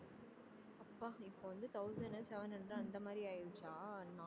அப்பா இப்போ வந்து thousand உ seven hundred அந்த மாதிரி ஆயிருச்சா